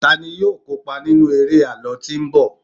tani yíò kópa nínú eré àlọ tí nbọ